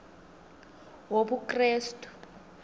wobukrestu